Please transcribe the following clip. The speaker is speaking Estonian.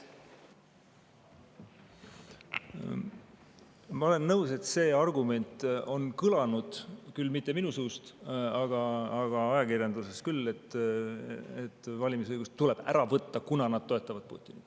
Ma olen nõus, et see argument on kõlanud, küll mitte minu suust, aga ajakirjanduses küll, et valimisõigus tuleb ära võtta, kuna nad toetavad Putinit.